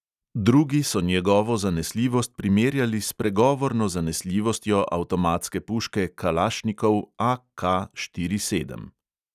Drugi so njegovo zanesljivost primerjali s pregovorno zanesljivostjo avtomatske puške kalašnikov AK štiri sedem.